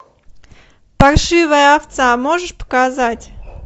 паршивая овца можешь показать